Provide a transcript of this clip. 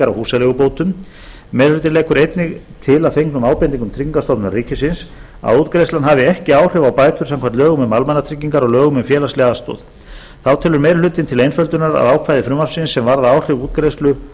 húsaleigubótum meiri hlutinn leggur einnig til að fengnum ábendingum tryggingastofnunar ríkisins að útgreiðslan hafi ekki áhrif á bætur samkvæmt lögum um almannatryggingar og lögum um félagslega aðstoð þá telur meiri hlutinn til einföldunar að ákvæði frumvarpsins sem varða áhrif